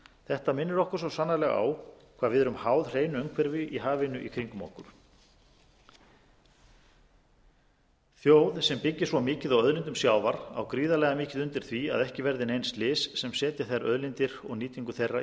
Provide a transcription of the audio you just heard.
þetta minnir okkur svo sannarlega á hvað við árum háð hreinu umhverfi í hafinu í kringum okkur þjóð sem byggir svo mikið á auðlindum sjávar á gríðarlega mikið undir því að ekki verði nein slys sem setji þær auðlindir og nýtingu þeirra